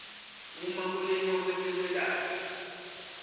uma kulingwa kwetekwelashwa